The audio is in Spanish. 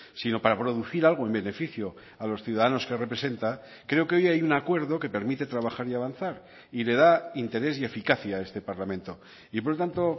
sino para producir algo en beneficio a los ciudadanos que representa creo que hoy hay un acuerdo que permite trabajar y avanzar y le da interés y eficacia a este parlamento y por lo tanto